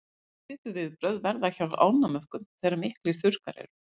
svipuð viðbrögð verða hjá ánamöðkum þegar miklir þurrkar eru